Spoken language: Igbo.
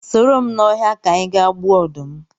Soro m ba ọhịa ka anyị ga gbuo ọdụm